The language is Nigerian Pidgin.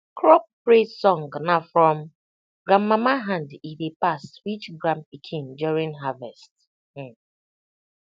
crop praise song na from grandmama hand e dey pass reach grandpikin during harvest um